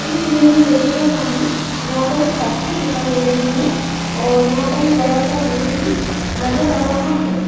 इस इमेज में देखिएगा सामने यहां पर एक फैक्ट्री दिखाई दे रही है और यहां पर एक बड़ा सा गेट भी नजर आ रहा है।